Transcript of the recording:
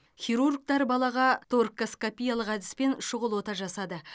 хирургтар балаға торккоскопиялық әдіспен шұғыл ота жасады